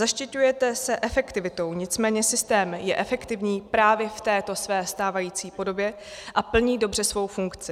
Zaštiťujete se efektivitou, nicméně systém je efektivní právě v této své stávající podobě a plní dobře svou funkci.